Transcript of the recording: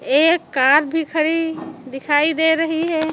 एक कार भी खड़ी दिखाई दे रही है।